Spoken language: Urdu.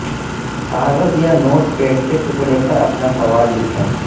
کاغذ یا نوٹ پیڈ کے ٹکڑے پر اپنا سوال لکھیں